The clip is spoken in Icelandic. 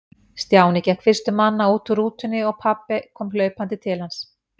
Stjáni gekk fyrstur manna út úr rútunni og pabbi kom hlaupandi til hans.